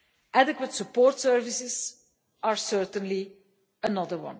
Adequate support services are certainly another.